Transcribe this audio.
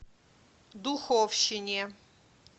духовщине